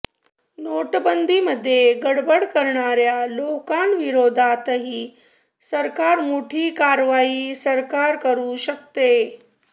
नोटबंदीमध्ये गडबड करणाऱ्या लोकांविरोधातही सरकार मोठी कारवाई सरकार करु शकते